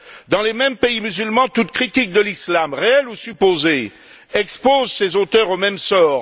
Dans les mêmes pays musulmans, toute critique de l'islam, réelle ou supposée, expose ses auteurs au même sort.